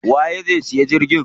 Waye zai siya jirgin ruwa?